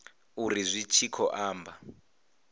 uri zwi tshi khou amba